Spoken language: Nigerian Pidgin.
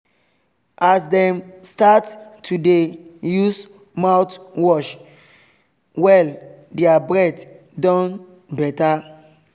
as dem start to dey use mouthwash well their breath don better